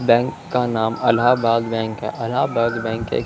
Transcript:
bank का नाम Allahabad bank है अलहाबाद बैंक के --